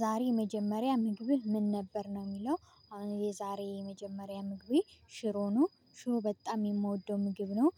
ዛሬ የመጀመሪያ ምግብህ ምን ነበር ነው የሚለው አሁን የዛሬ የመጀመሪያ ምግቤ ሽሮ ነው። ሽሮ በጣም የምወደው ምግብ ነው